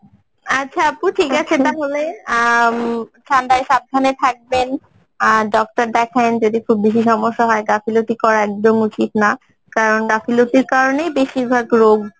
আচ্ছা আপু ঠিক আছে তাহলে আহ উম ঠান্ডায় সাবধানে থাকবেন আহ doctor দেখাইন যদি বেশী সমস্যা হয় গাফিলতি কত একদম উচিত না কারণ গাফিলতির কারণেই বেশিরভাগ রোগ